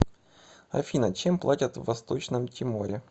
афина чем платят в восточном тиморе